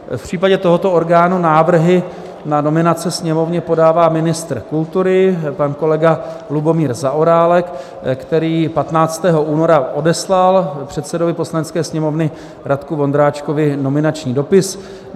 V případě tohoto orgánu návrhy na nominace Sněmovně podává ministr kultury pan kolega Lubomír Zaorálek, který 15. února odeslal předsedovi Poslanecké sněmovny Radku Vondráčkovi nominační dopis.